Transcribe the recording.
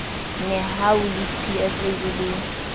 nehawu le psa e le